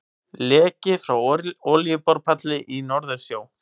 Leki frá olíuborpalli í Norðursjó.